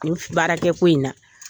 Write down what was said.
baarakɛko in na